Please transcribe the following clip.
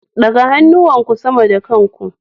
Ɗaga hannuwanku sama da kan ku.